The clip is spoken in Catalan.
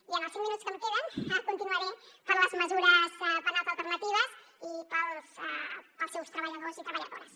i en els cinc minuts que em queden continuaré per les mesures penals alternatives i pels seus treballadors i treballadores